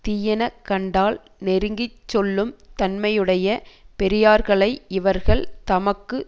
தீயன கண்டால் நெருங்கி சொல்லும் தன்மையுடைய பெரியார்களை இவர்கள் தமக்கு